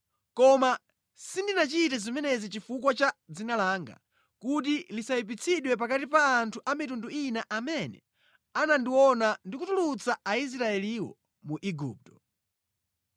Koma sindinachite zimenezi chifukwa cha dzina langa, kuti lisayipitsidwe pakati pa anthu a mitundu ina amene anandiona ndikutulutsa Aisraeliwo mu Igupto.